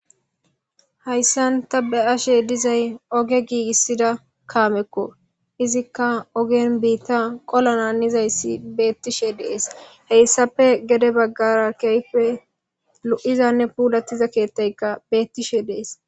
hayssan ta be7ashe dizay oge giigissida kaamekko izikka ogen biitta qola naanizayssi beettishe dees heyssafe gede baggara keype lu7izanne puudattiza keettayka beettishe dees